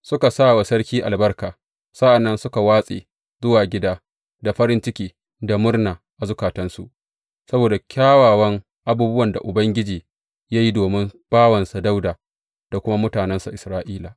Suka sa wa sarki albarka, sa’an nan suka watse zuwa gida, da farin ciki, da murna a zukatansu saboda kyawawan abubuwan da Ubangiji ya yi domin bawansa Dawuda, da kuma mutanensa Isra’ila.